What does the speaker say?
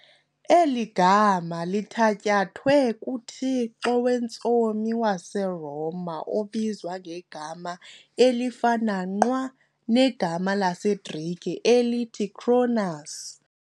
Eli gama lithatyathwe kuthixo wentsomi waseRoma obizwa ngegama elifana nqwa negama lesiGrike elithi Cronus.